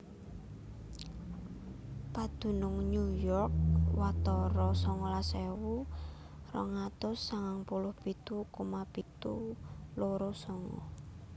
Padunung New York watara songolas ewu rong atus sangang puluh pitu koma pitu loro sanga